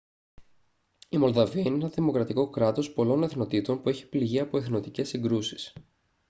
η μολδαβία είναι ένα δημοκρατικό κράτος πολλών εθνοτήτων που έχει πληγεί από εθνοτικές συγκρούσεις